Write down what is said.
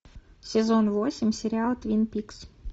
сезон восемь сериала твин пикс